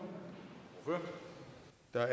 der har